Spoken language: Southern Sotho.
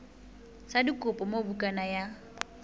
sa dikopo moo bukana ya